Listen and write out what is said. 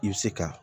I bɛ se ka